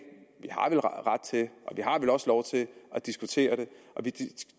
har vel også lov til at diskutere det og vi